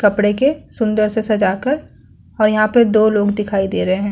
कपड़े के सुंदर से सजाकर और यहाँ पे दो लोग दिखाई दे रहे है।